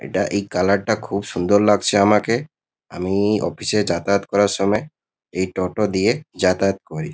এটা এই কালার -টা খুব সুন্দর লাগছে আমাকে। আমি-ই অফিস -এ যাতায়াত করার সময় এই টোটো দিয়ে যাতায়াত করি।